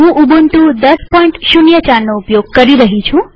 હું ઉબુન્ટુ ૧૦૦૪નો ઉપયોગ કરી રહી છું